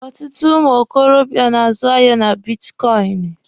Ọtụtụ ụmụ okorobịa na-azụ ahịa na bitkọịnị.